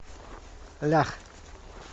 лях